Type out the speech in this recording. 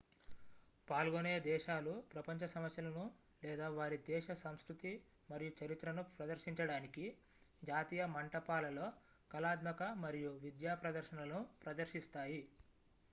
పాల్గొనే దేశాలు ప్రపంచ సమస్యలను లేదా వారి దేశ సంస్కృతి మరియు చరిత్రను ప్రదర్శించడానికి జాతీయ మంటపాలలో కళాత్మక మరియు విద్యా ప్రదర్శనలను ప్రదర్శిస్తాయి